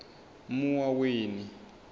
muwaweni